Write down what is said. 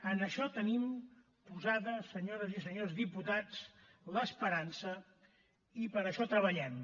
en això tenim posada senyores i senyors diputats l’esperança i per a això treballem